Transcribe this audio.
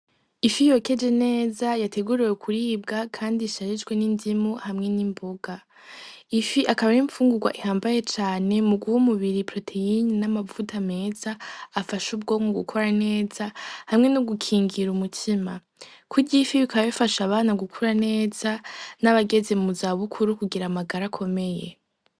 Ifi yokeje neza yateguriwe kuribwa kandi isharijwe n'indimu hamwe n'imboga. Ifi akaba ar'imfungugwa ihamabaye cane muguha umubiri poroteyine n'amavuta meza afasha ubwoko gukora neza hamwe nogukingira umutima, kurya ifi bikaba bifasha abana gukura neza n'abageze muzabukuru kugira amagara akomeye.